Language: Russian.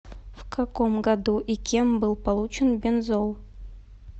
в каком году и кем был получен бензол